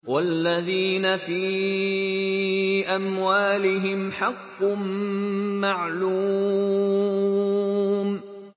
وَالَّذِينَ فِي أَمْوَالِهِمْ حَقٌّ مَّعْلُومٌ